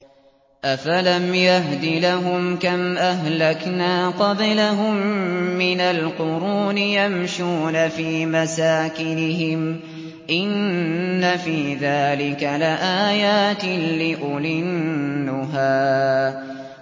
أَفَلَمْ يَهْدِ لَهُمْ كَمْ أَهْلَكْنَا قَبْلَهُم مِّنَ الْقُرُونِ يَمْشُونَ فِي مَسَاكِنِهِمْ ۗ إِنَّ فِي ذَٰلِكَ لَآيَاتٍ لِّأُولِي النُّهَىٰ